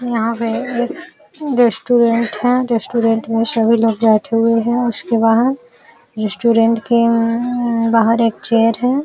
यहां पे एक रेस्टोरेंट है। रेस्टोरेंट में सभी लोग बैठे हुए हैं उसके बाहर रेस्टोरेंट के बाहर अम्म अम्म एक चेयर है।